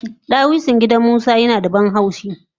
Dawisu na gidan musa yinada banhaushi